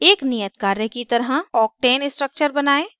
एक नियत कार्य की तरह octane structure बनायें